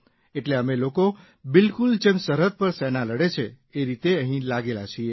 એટલે અમે લોકો બિલકુલ જેમ સરહદ પર સેના લડે છે એ રીતે અહીં લાગેલા છીએ